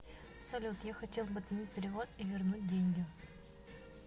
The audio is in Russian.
салют я хотел бы отменить перевод и вернуть деньги